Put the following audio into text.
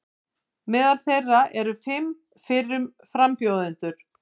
Meðal þeirra eru fimm fyrrum frambjóðendur